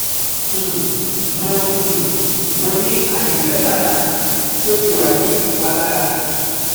um Mo um Mo ni aaye metala ti o ti wa ni ipalara